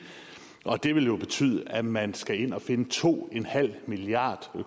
og det vil jo betyde at man skal ind og finde to en halv milliard